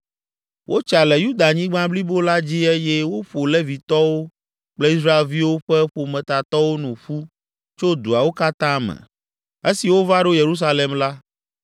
Wotsa le Yudanyigba blibo la dzi eye woƒo Levitɔwo kple Israelviwo ƒe ƒometatɔwo nu ƒu tso duawo katã me. Esi wova ɖo Yerusalem la,